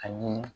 Ani